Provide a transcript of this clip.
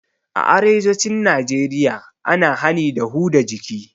A arewacin najeriya ana hani da huda jiki